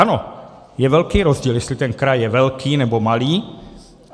Ano, je velký rozdíl, jestli ten kraj je velký, nebo malý.